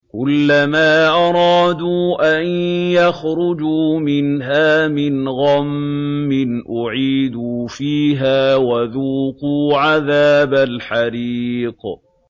كُلَّمَا أَرَادُوا أَن يَخْرُجُوا مِنْهَا مِنْ غَمٍّ أُعِيدُوا فِيهَا وَذُوقُوا عَذَابَ الْحَرِيقِ